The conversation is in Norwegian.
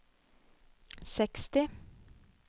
seksti